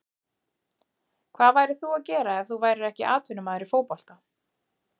Hvað værir þú að gera ef þú værir ekki atvinnumaður í fótbolta?